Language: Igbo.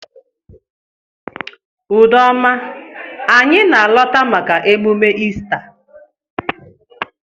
Udoma anyi na alọta maka emume Ista.